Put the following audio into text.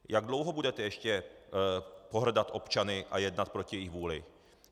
Jak dlouho budete ještě pohrdat občany a jednat proti jejich vůli?